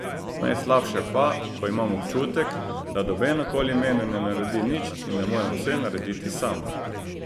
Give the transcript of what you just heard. Najslabše pa, ko imam občutek, da noben okoli mene ne naredi nič in da moram vse narediti sam.